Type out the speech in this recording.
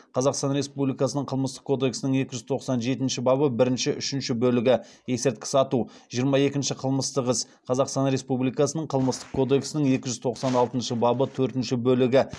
қазақстан республикасының қылмыстық кодексінің екі жүз тоқсан жетінші бабы бірінші үшінші бөлігі жиырма екінші қылмыстық іс қазақстан республикасының қылмыстық кодексінің екі жүз тоқсан алтыншы бабы төртінші бөлігі